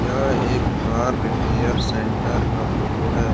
यह एक car repair centre का फोटो है।